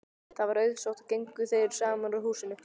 Það var auðsótt og gengu þeir saman úr húsinu.